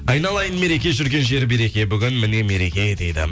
айналайын мереке жүрген жері береке бүгін міне мереке дейді